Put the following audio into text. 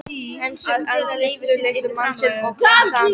Einsog andlitslitur mannsins og glansandi hár.